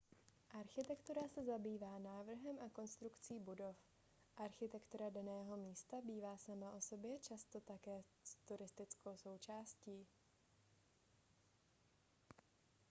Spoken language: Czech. architektura se zabývá návrhem a konstrukcí budov architektura daného místa bývá sama o sobě často také turistickou atrakcí